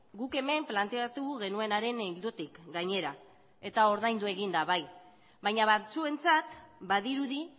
guk hemen planteatu genuenaren ildotik gainera eta ordaindu egin da bai baina batzuentzat badirudi